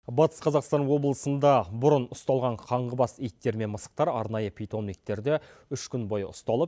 батыс қазақстан облысында бұрын ұсталған қаңғыбас иттер мен мысықтар арнайы питомниктерде үш күн бойы ұсталып